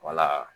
Wala